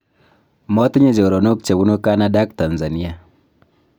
matinye choronok che bunu kanada ak Tanzania